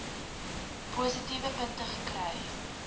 positiewe punte kry